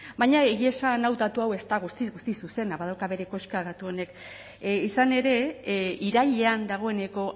baina egia esan hau datu hau ez da guztiz guztiz zuzena badauka bere koska datu honek izan ere irailean dagoeneko